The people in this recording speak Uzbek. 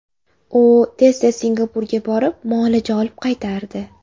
U tez-tez Singapurga borib, muolaja olib qaytardi.